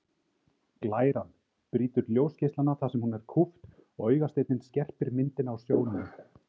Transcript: Glæran brýtur ljósgeislana þar sem hún er kúpt og augasteinninn skerpir myndina á sjónunni.